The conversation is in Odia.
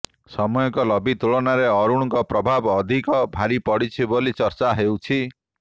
ସୌମ୍ୟଙ୍କ ଲବି ତୁଳନାରେ ଅରୁଣଙ୍କ ପ୍ରଭାବ ଅଧିକ ଭାରି ପଡ଼ିଛି ବୋଲି ଚର୍ଚ୍ଚା ହେଉଛି